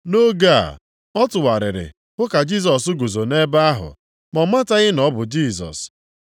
Nʼoge a, ọ tụgharịrị hụ ka Jisọs guzo nʼebe ahụ. Ma ọ mataghị na ọ bụ Jisọs.